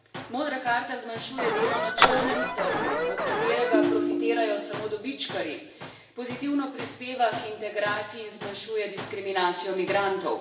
Modra karta zmanjšuje delo na črnem trgu, od katerega profitirajo samo dobičkarji, pozitivno prispeva k integraciji in zmanjšuje diskriminacijo migrantov.